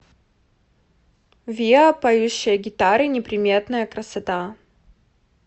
виа поющие гитары неприметная красота